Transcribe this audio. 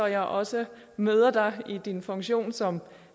jeg også møder dig i din funktion som